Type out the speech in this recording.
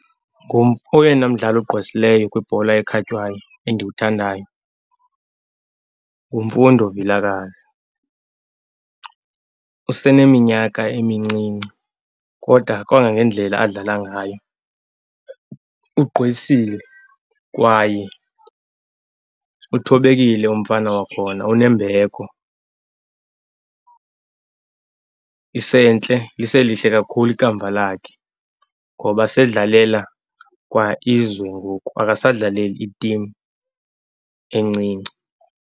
Kum oyena mdlali ogqwesileyo kwibhola ekhatywayo endiwuthandayo nguMfundo Vilakazi. Useneminyaka emincinci kodwa kwangangendlela adlala ngayo ugqwesile kwaye uthobekile umfana wakhona, unembeko. Isentle, liselihle kakhulu ikamva lakhe ngoba sedlalela kwa izwe ngoku, akasadlaleli itimu encinci.